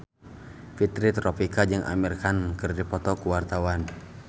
Fitri Tropika jeung Amir Khan keur dipoto ku wartawan